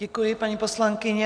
Děkuji, paní poslankyně.